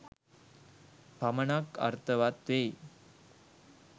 පමණක් අර්ථවත් වෙයි